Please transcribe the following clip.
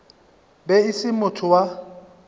be e se motho wa